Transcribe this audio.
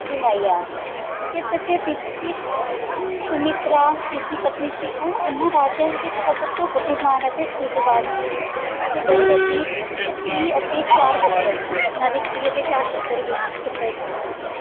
ਸੁਮਿਤਰਾ ਤੀਜੀ ਪਤਨੀ ਸੀ, ਉਹ ਉਹਨਾਂ ਵਿੱਚੋਂ ਸੱਭ ਤੋਂ ਭੁਦੀਮਾਨ ਅਤੇ ਸੂਜਵਾਨ ਸੀ ਤੇ ਦਸ਼ਰਤ ਜੀ ਦੇ ਅਤੇ ਚਾਰ ਪੁੱਤਰ ਸਨ। ਉਹਨਾਂ ਦੇ ਅਤੇ ਚਾਰ ਪੁੱਤਰ ਵੀ, ਪੁੱਤਰ ਸਨ ਹਾਂਜੀ